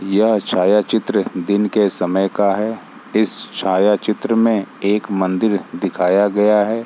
यह छाया-चित्र दिन के समय का है इस छाया-चित्र में एक मंदिर दिखाया गया है।